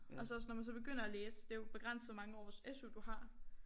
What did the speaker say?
Og så også når man så begynder at læse det jo begrænset hvor mange års SU du har